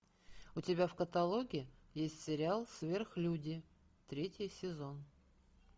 у тебя в каталоге есть сериал сверхлюди третий сезон